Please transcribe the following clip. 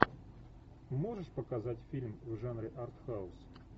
можешь показать фильм в жанре артхаус